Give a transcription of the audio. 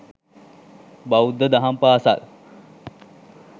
බෞද්ධ දහම් පාසල්